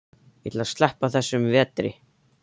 Ég ætla að sleppa þessum vetri.